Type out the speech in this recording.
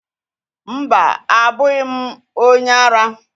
Mba, abụghị m onye ara